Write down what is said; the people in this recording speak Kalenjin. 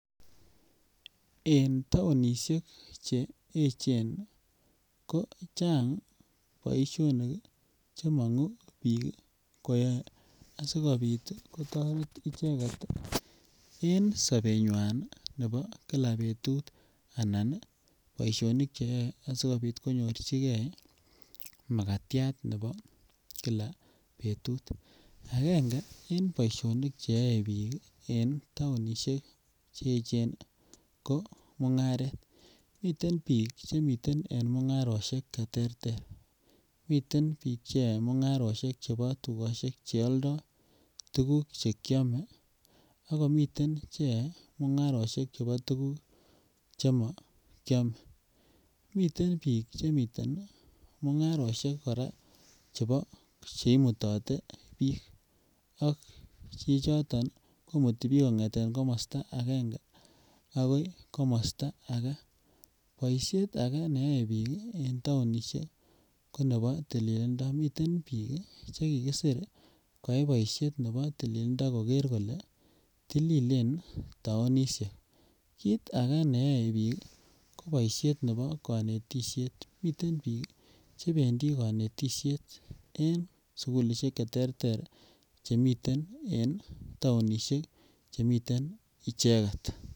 En tounishek che Cheechen ko Chang boisionik che miguu biik koyoe asikopit kotoret icheget en sobenywan nebo Kila betut anan boisionik che yoe asikopit konyorjigee makatiat nebo Kila betut. Angenge en boisionik che yoe biik en tounishek Cheechen ko mungaret miten biik che miten en mungaroshek che terter miten biik che yoe mungaroshek chebo tugoshek che oldo tuguk che kyome ako miten che yoe mungaroshek chebo tuguk che mo kyome miten biik che miten mungaroshek koraa chebo che imutote biik ako biik choton komutii biik kongeten komosto angenge agoi komosto agee. Boishet agee neyoe biik ii en tounishek ko nebo tilililndo, miten biik che kikisir koyay boishet nebo tilililndo koger kolee tililen tounishek. Kit age neyoe biik ko boishet nebo konetisiet. Miten biik che bendii konetisiet en sukulishek che terter chemiten en tounishek chemiten icheget.